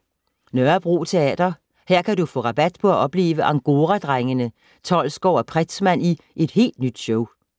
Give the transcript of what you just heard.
Nørrebro Teater - her kan du få rabat på at opleve Angora-drengene Tolsgaard & Pretzmann i et helt nyt show.